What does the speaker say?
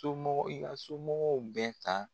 Somɔgɔ i ka somɔgɔw bɛɛ ta